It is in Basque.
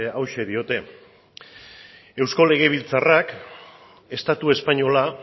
hauxe diote eusko legebiltzarrak estatu espainola